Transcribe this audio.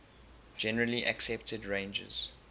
generally accepted ranges